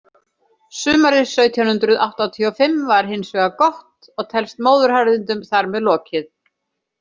Sumarið sautján hundrað áttatíu og fimm var hins vegar gott, og telst móðuharðindum þar með lokið.